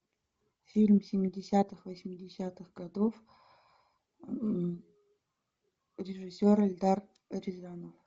фильм семидесятых восьмидесятых годов режиссер эльдар рязанов